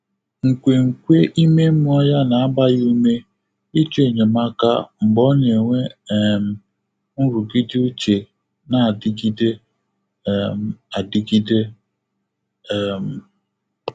Nkwènkwe ímé mmụ́ọ́ yá nà-àgbá yá úmé ị́chọ́ ényémáká mgbè ọ́ nà-ènwé um nrụ́gídé úchè nà-ádị́gídé um ádị́gídé. um